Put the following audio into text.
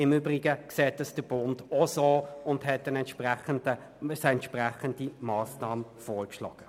Im Übrigen sieht das der Bund genauso, und er hat eine entsprechende Massnahme vorgeschlagen.